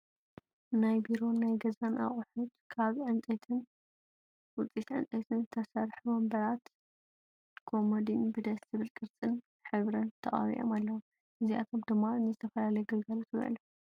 ናይ ቢሮን ናይ ገዛን ኣቁሑት፦ ካብ ዕንፀይትን ውፅኢት ዕንፀይትን ዝተሰርሑ ወንበራት ኮሞዲን ብደስ ዝብል ቅርፅን ሕብሪን ተቀቢኦም ኣለው። እዚኣቶም ድማ ንዝተፈላለዩ ግልጋሎት ይውዕሉ።